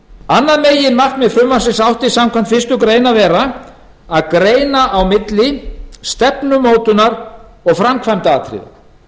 annað meginmarkmið frumvarpsins átti samkvæmt fyrstu grein að vera að greina á milli stefnumótunar og framkvæmdaatriða